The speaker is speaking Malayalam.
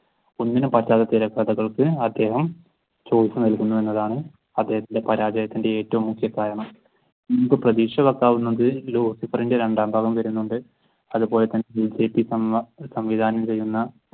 ഒന്നിനും പറ്റാത്ത തിരക്കഥകൾക്ക് അദ്ദേഹം shows നൽകുന്നു എന്നതാണ് അദ്ദേഹത്തിന്റെ പരാജയത്തിന്റെ ഏറ്റവും മുഖ്യ കാരണം. ലൂസിഫറിന്റെ രണ്ടാം ഭാഗം വരുന്നുണ്ട് അതുപോലെ തന്നെ സംവിധാനം ചെയ്യുന്ന